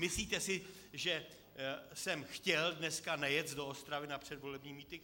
Myslíte si, že jsem chtěl dnes nejet do Ostravy na předvolební mítink?